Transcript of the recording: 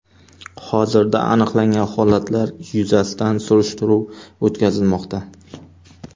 Hozirda aniqlangan holatlar yuzasidan surishtiruv o‘tkazilmoqda.